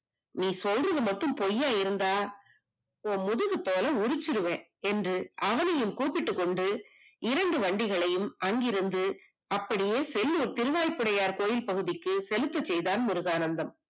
நீ சொல்றது மட்டும் பொய்யா இருந்தா உன் முதுகு தோலை உரித்து விடுவேன் என்று அவனையும் கூப்பிட்டுக் கொண்டு இரண்டு வண்டிகளையும் அங்கிருந்து செல்லூர் புடனாய் கோவில் பகுதிக்கு செலுத்த செய்தான் முருகானந்தம்